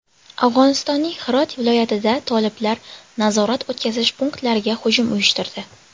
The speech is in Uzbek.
Afg‘onistonning Hirot viloyatida toliblar nazorat-o‘tkazish punktlariga hujum uyushtirdi.